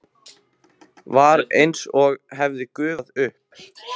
Var einsog hann hefði gufað upp.